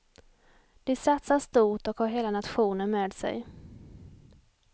De satsar stort och har hela nationen med sig.